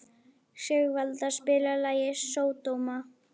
Sigvalda, spilaðu lagið „Sódóma“.